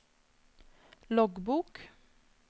loggbok